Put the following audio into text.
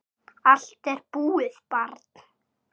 Allt er búið, barn.